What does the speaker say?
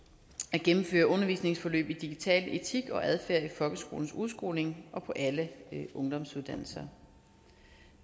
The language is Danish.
gennemføre undervisningsforløb i digital etik og adfærd i folkeskolens udskoling og på alle ungdomsuddannelser